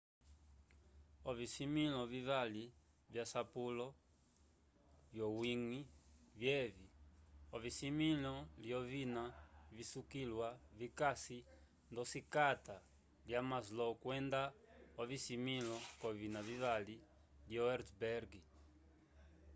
ovisimĩlo vivali vyasapulo vyowiñgi vyevi ocisimĩlo lyovina visukiliwa vikasi ndosikata lya maslow kwenda ocisimĩlo c'ovina vivali lyo hertzberg